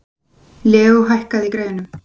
Leó, hækkaðu í græjunum.